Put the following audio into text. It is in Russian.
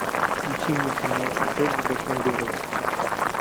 включи мне кино секс в большом городе